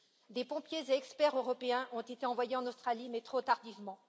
Des pompiers et experts européens ont été envoyés en Australie mais trop tardivement.